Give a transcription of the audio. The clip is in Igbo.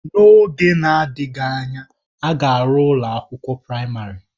N'oge na-adịghị anya, ha ga-arụ ụlọ akwụkwọ praịmarị